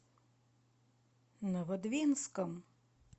новодвинском